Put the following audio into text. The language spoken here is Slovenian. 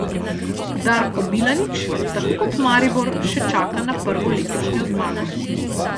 Darko Milanič tako kot Maribor še čaka na prvo letošnjo zmago.